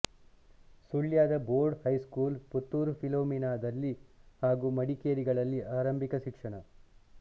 ಸುಳ್ಯದ board high school Puttur ಫಿಲೋಮಿನಾದಲ್ಲಿ ಹಾಗೂ ಮಡಿಕೇರಿಗಳಲ್ಲಿ ಆರಂಭಿಕ ಶಿಕ್ಷಣ